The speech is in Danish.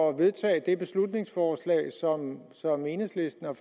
at vedtage det beslutningsforslag som enhedslisten har